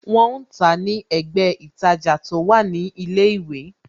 Wọn ń tàá ní ẹ̀gbẹ́ ītajà tó wà ní ilé ìwé